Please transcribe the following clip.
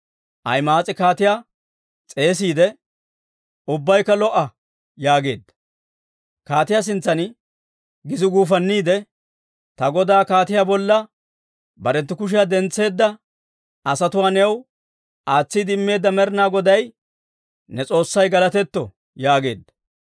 Ahima'aas'i kaatiyaa s'eesiide, «Ubbabaykka lo"o!» yaageedda. Kaatiyaa sintsan gisi guufanniide, «Ta godaa kaatiyaa bolla barenttu kushiyaa dentseedda asatuwaa new aatsiide immeedda Med'inaa Goday ne S'oossay galatetto» yaageedda.